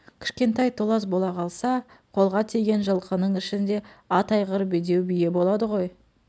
кішкентай толас бола қалса қолға тиген жылқының ішінде ат айғыр бедеу бие болады ғой